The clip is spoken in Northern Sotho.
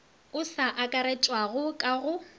o sa akaretšwago ka go